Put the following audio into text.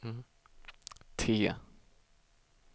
T